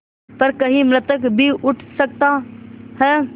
पर कहीं मृतक भी उठ सकता है